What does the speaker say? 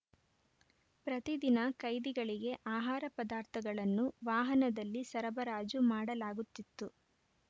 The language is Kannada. ಪ್ರತಿದಿನ ಕೈದಿಗಳಿಗೆ ಆಹಾರ ಪದಾರ್ಥಗಳನ್ನು ವಾಹನದಲ್ಲಿ ಸರಬರಾಜು ಮಾಡಲಾಗುತ್ತಿತ್ತು